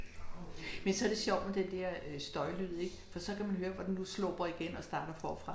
Men så det sjovt med den der øh støjlyd ik, for så kan du hører hvordan du sluprer igen og starter forfra